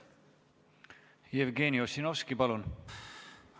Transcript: Jevgeni Ossinovski, palun!